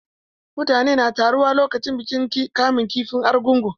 Mutane na taruwa lokacin bikin kamun kifin argungu.